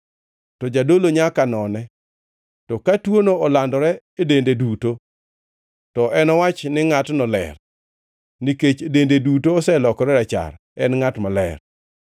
to jadolo nyaka none, to ka tuono olandore e dende duto, to enowach ni ngʼatno ler. Nikech dende duto oselokore rachar, en ngʼat maler.